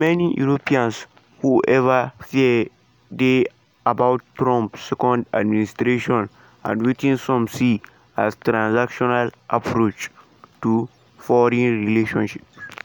for many europeans however fear dey about trump second administration and wetin some see as transactional approach to foreign relations.